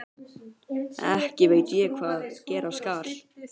Ekki veit ég hvað gera skal.